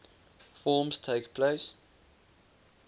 forms takes place